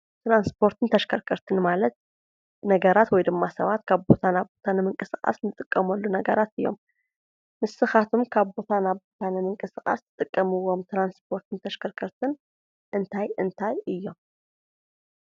ትራንስፖርትን ተሽከርከርትን ማለት ነገራት ወይ ድማ ሰባት ካብ ቦታ ናብ ቦታ ንምቅስቃስ እንጥቀመሉ ነገራት እዮም፡፡ ንስኻትኩም ካብ ቦታ ናብ ቦታ ንምቅስቃስ እትጥቀምዎም ትራንስፖርትን ተሽከርከርትን እንታይ እንታይ እዮም?